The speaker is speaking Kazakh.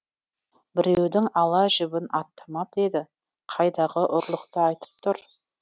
біреудің ала жібін аттамап еді қайдағы ұрлықты айтып тұр